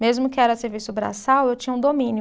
Mesmo que era serviço braçal, eu tinha um domínio.